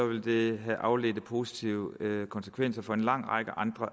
vil det have afledte positive konsekvenser for en lang række